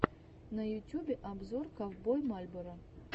на ютюбе обзор ковбой мальборо